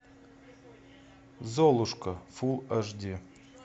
золушка фул аш ди